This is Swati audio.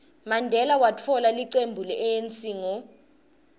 mandela watfola licembu le anc ngo